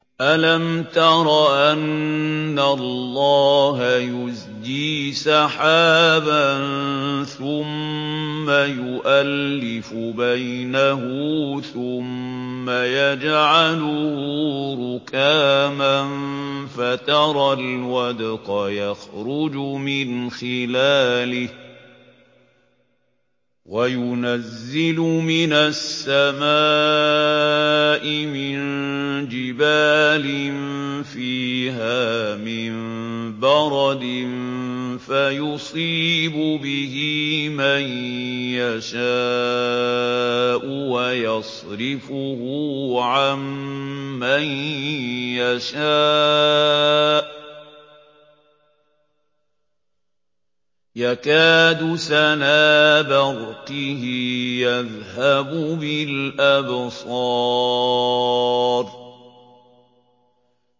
أَلَمْ تَرَ أَنَّ اللَّهَ يُزْجِي سَحَابًا ثُمَّ يُؤَلِّفُ بَيْنَهُ ثُمَّ يَجْعَلُهُ رُكَامًا فَتَرَى الْوَدْقَ يَخْرُجُ مِنْ خِلَالِهِ وَيُنَزِّلُ مِنَ السَّمَاءِ مِن جِبَالٍ فِيهَا مِن بَرَدٍ فَيُصِيبُ بِهِ مَن يَشَاءُ وَيَصْرِفُهُ عَن مَّن يَشَاءُ ۖ يَكَادُ سَنَا بَرْقِهِ يَذْهَبُ بِالْأَبْصَارِ